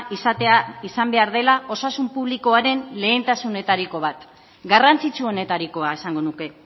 izatea izan behar dela osasun publikoaren lehentasunetariko bat garrantzitsu honetarikoa esango nuke